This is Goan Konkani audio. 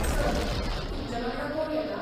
सर, तुमचे वांगडा कोण येता?